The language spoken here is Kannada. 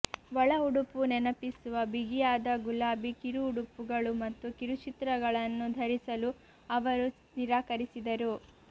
ಒಳ ಉಡುಪು ನೆನಪಿಸುವ ಬಿಗಿಯಾದ ಗುಲಾಬಿ ಕಿರು ಉಡುಪುಗಳು ಮತ್ತು ಕಿರುಚಿತ್ರಗಳನ್ನು ಧರಿಸಲು ಅವರು ನಿರಾಕರಿಸಿದರು